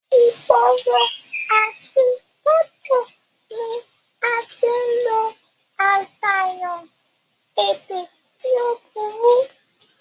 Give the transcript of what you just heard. ìgboro àti gẹ́tò ni a tí ń lo àṣàyàn èdè tí ó burú